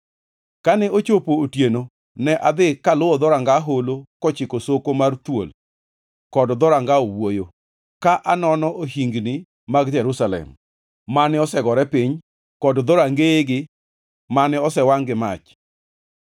Kane ochopo otieno ne adhi kaluwo Dhoranga Holo kochiko Soko mar Thuol kod Dhoranga Owuoyo, ka anono ohingni mag Jerusalem, mane osegore piny, kod dhorangeyigi mane osewangʼ gi mach.